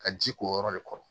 Ka ji k'o yɔrɔ de kɔrɔ